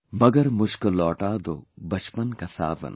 Magar mujhko lauta do bachpan ka sawan